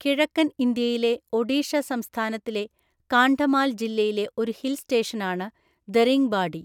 കിഴക്കൻ ഇന്ത്യയിലെ ഒഡീഷ സംസ്ഥാനത്തിലെ കാണ്ഡമാൽ ജില്ലയിലെ ഒരു ഹിൽ സ്റ്റേഷനാണ് ദരിംഗ്ബാഡി.